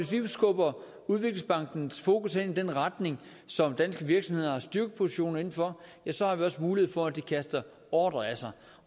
skubber udviklingsbankens fokus i retning af som danske virksomheder har styrkepositioner inden for så har vi også mulighed for at det kaster ordrer af sig